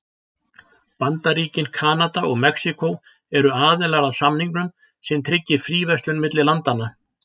Bandaríkin, Kanada og Mexíkó eru aðilar að samningnum sem tryggir fríverslun milli landanna.